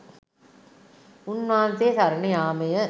උන්වහන්සේ සරණ යාමය.